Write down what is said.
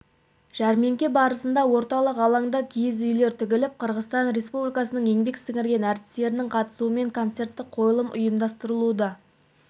жәрмеңке барысында орталық алаңда киіз үйлер тігіліп қырғызстан республикасының еңбек сіңірген әртістерінің қатысуымен концерттік қойылым ұйымдастырылуда